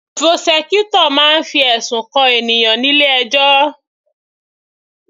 Prosecutor máa ń fi ẹ̀sùn kan ènìyàn nílé ẹjọ́